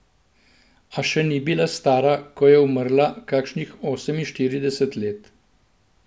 A še ni bila stara, ko je umrla, kakšnih oseminštirideset let.